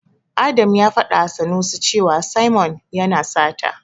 Adam ya faɗawa Sanusi cewa Simon yana sata.